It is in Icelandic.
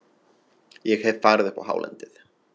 Ég hef farið upp á hálendið.